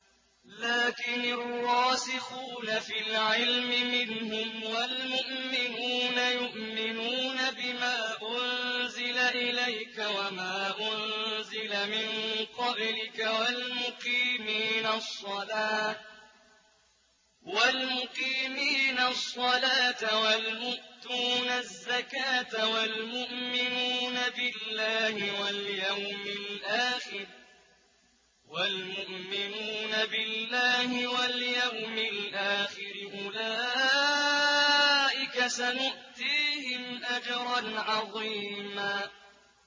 لَّٰكِنِ الرَّاسِخُونَ فِي الْعِلْمِ مِنْهُمْ وَالْمُؤْمِنُونَ يُؤْمِنُونَ بِمَا أُنزِلَ إِلَيْكَ وَمَا أُنزِلَ مِن قَبْلِكَ ۚ وَالْمُقِيمِينَ الصَّلَاةَ ۚ وَالْمُؤْتُونَ الزَّكَاةَ وَالْمُؤْمِنُونَ بِاللَّهِ وَالْيَوْمِ الْآخِرِ أُولَٰئِكَ سَنُؤْتِيهِمْ أَجْرًا عَظِيمًا